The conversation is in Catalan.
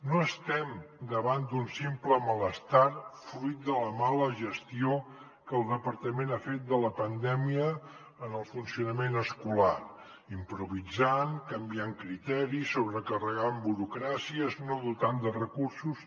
no estem davant d’un simple malestar fruit de la mala gestió que el departament ha fet de la pandèmia en el funcionament escolar improvisant canviant criteris sobrecarregant burocràcies no dotant de recursos